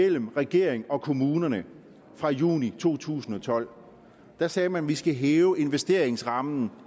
imellem regeringen og kommunerne fra juni to tusind og tolv sagde man vi skal hæve investeringsrammen